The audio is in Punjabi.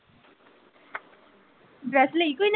ਡਰੈੱਸ ਲਈ ਕੋਈ .